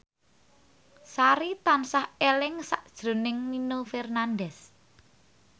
Sari tansah eling sakjroning Nino Fernandez